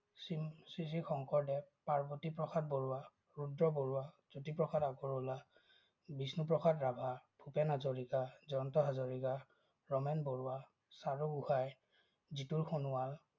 Sri Sri Sankardev, Parbatiprasad Barua, Rudra Barua, Jyotiprasad Agarwala, Bishnuprasad Rabha, Bhupen Hazarika, Jayanta Hazarika, Ramen Barua, Charu Gohain, Jitul Sonowal,